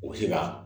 U bɛ se ka